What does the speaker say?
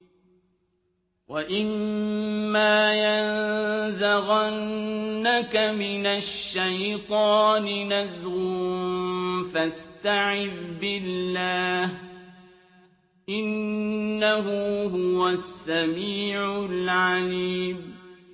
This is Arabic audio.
وَإِمَّا يَنزَغَنَّكَ مِنَ الشَّيْطَانِ نَزْغٌ فَاسْتَعِذْ بِاللَّهِ ۖ إِنَّهُ هُوَ السَّمِيعُ الْعَلِيمُ